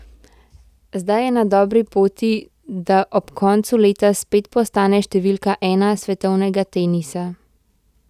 Zdaj je na dobri poti, da ob koncu leta spet postane številka ena svetovnega tenisa.